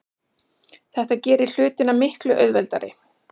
Þetta gerir hlutina miklu auðveldari.